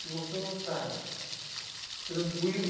Se você não está tranquilo..